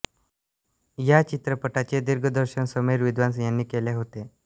या चित्रपटाचे दिग्दर्शन समीर विद्वांस यांनी केले होते